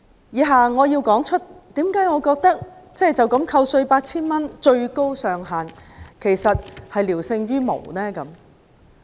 以下我解釋為何我認為最高上限扣稅 8,000 元聊勝於無。